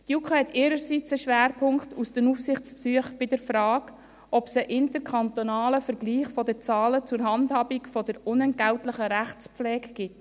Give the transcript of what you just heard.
Die JuKo legt ihrerseits einen Schwerpunkt aus einer Frage aus den Aufsichtsbesuchen, ob es einen interkantonalen Vergleich der Zahlen zur Handhabung der unentgeltlichen Rechtspflege gibt.